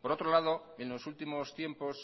por otro lado en los últimos tiempos